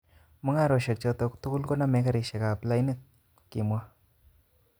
Mungarosiek choto tugul koname karisiek ab lainit", kimwa.